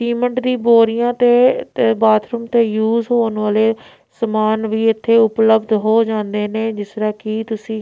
cement ਦੀ ਬੋਰੀਆਂ ਤੇ ਬਾਥਰੂਮ ਤੇ ਯੂਜ਼ ਹੋਣ ਵਾਲੇ ਸਮਾਨ ਵੀ ਇੱਥੇ ਉਪਲਭਦ ਹੋ ਜਾਂਦੇ ਨੇਂ ਜਿੱਸ ਤਰਹਾਂ ਕਿ ਤੁਸੀਂ--